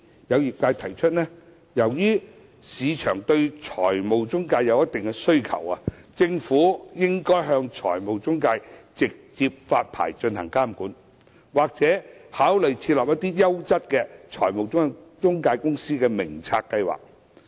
有業界人士提出，由於市場對財務中介有一定需求，政府應該向財務中介直接發牌進行監管，或考慮設立優質財務中介公司名冊計劃。